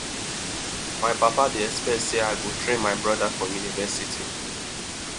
my papa dey expect sey i go train my broda for university